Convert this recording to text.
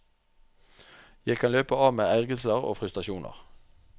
Jeg kan løpe av meg ergrelser og frustrasjoner.